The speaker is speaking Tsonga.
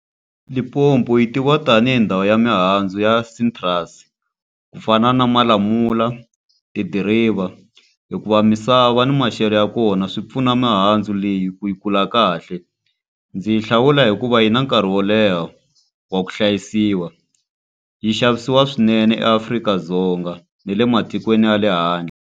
Limpopo yi tiviwa tanihi ndhawu ya mihandzu ya citrus ku fana na malamula, tidiriva, hikuva misava ni maxelo ya kona swi pfuna mihandzu leyi ku yi kula kahle. Ndzi yi hlawula hikuva yi na nkarhi wo leha wa ku hlayisiwa. Yi xavisiwa swinene eAfrika-Dzonga ne le matikweni ya le handle.